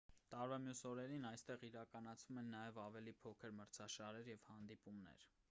տարվա մյուս օրերին այստեղ իրականացվում են նաև ավելի փոքր մրցաշարեր և հանդիպումներ